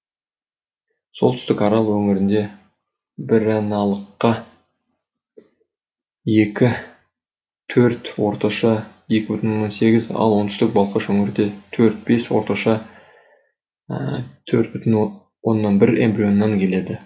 солтүстік арал өңірінде біраналыққа екі төрт орташа екі бүтын оннан сегіз ал оңтүстік балқаш өңірінде төрт бес орташа төрт бүтын онан бір эмбрионнан келеді